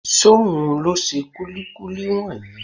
Ṣóhun ló ṣe kúlíkúlí wọ̀nyí?